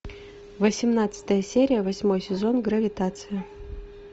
восемнадцатая серия восьмой сезон гравитация